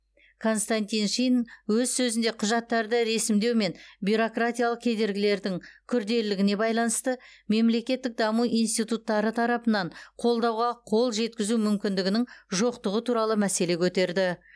константин шин өз сөзінде құжаттарды ресімдеу мен бюрократиялық кедергілердің күрделілігіне байланысты мемлекеттік даму институттары тарапынан қолдауға қол жеткізу мүмкіндігінің жоқтығы туралы мәселе көтерді